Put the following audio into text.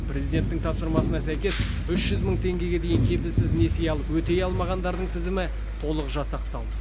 президенттің тапсырмасына сәйкес үш жүз мың теңгеге дейін кепілсіз несие алып өтей алмағандардың тізімі толық жасақталды